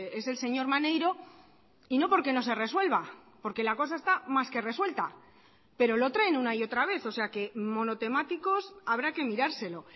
es el señor maneiro y no porque no se resuelva porque la cosa está más que resuelta pero lo traen una y otra vez o sea que monotemáticos habrá que mirárselo